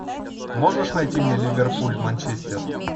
можешь найти мне ливерпуль манчестер